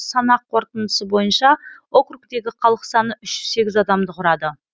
санақ қорытындысы бойынша округтегі халық саны үш жүз сегіз адамды құрады